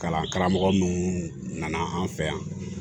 Kalan karamɔgɔ minnu nana an fɛ yan